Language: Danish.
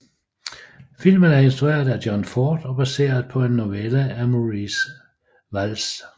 Filmen er instrueret af John Ford og baseret på en novelle af Maurice Walsh